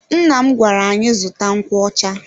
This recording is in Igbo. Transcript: Nna m gwara anyị zụta nkwocha.